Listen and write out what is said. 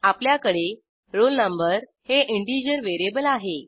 आपल्याकडे roll no हे integer variable आहे